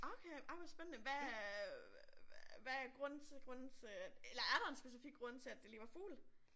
Okay ej hvor spændende hvad øh hvad er grunden til grunden til eller er der en specifik grund til at det lige var fugle?